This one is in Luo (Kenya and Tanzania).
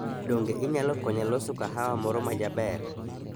Donge inyalo konya loso kahawa moro majaber?